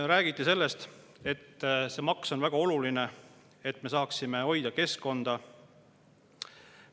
Räägiti sellest, et see maks on väga oluline, et me saaksime hoida keskkonda.